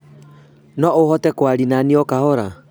No ũhote kwaria na niĩ o kahora?